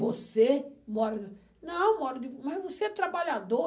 Você mora... Não, eu moro de... Mas você é trabalhador?